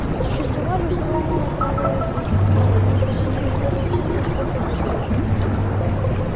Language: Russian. существовали установленные правила игры и неукоснительно следовать им успех обеспечен